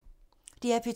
DR P2